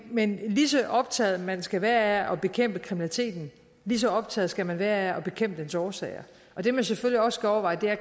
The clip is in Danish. men lige så optaget man skal være af at bekæmpe kriminaliteten lige så optaget skal man være af at bekæmpe dens årsager og det man selvfølgelig også skal overveje er